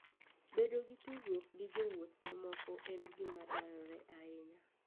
Bedo gi tudruok gi jowuoth mamoko en gima dwarore ahinya.